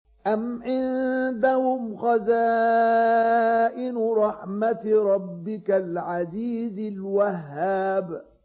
أَمْ عِندَهُمْ خَزَائِنُ رَحْمَةِ رَبِّكَ الْعَزِيزِ الْوَهَّابِ